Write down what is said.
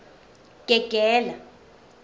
gegela